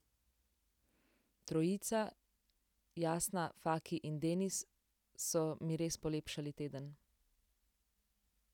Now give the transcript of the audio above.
Trojica, Jasna, Faki in Denis, so mi res polepšali teden.